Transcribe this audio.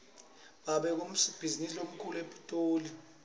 babe ngusomabhizinisi lomkhulu epitoli